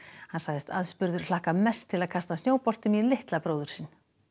hann sagðist aðspurður hlakka mest til að kasta snjóboltum í litla bróður sinn